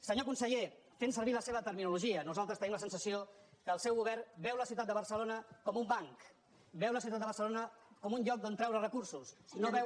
senyor conseller fent servir la seva terminologia nosaltres tenim la sensació que el seu govern veu la ciutat de barcelona com un banc veu la ciutat de barcelona com un lloc d’on treure recursos i no veu